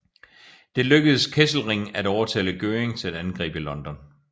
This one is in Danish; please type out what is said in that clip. Det lykkedes Kesselring at overtale Göring til at angribe London